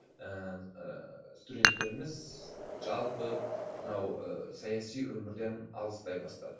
ііі студенттеріміз жалпы мынау ыыы саяси өмірден алыстай бастады